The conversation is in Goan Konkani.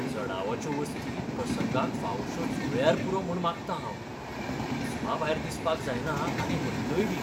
जडावाच्यो वस्ती प्रसंगाक फावोश्यो जुळ्ळ्यार पुरो म्हूण मागतां हांव. हिसपाभायर दिसपाक जायना आनी हलक्योयबी.